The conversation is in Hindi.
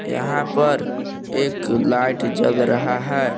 यहां पर एक लाइट जल रहा है।